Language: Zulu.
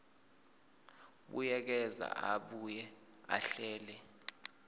buyekeza abuye ahlele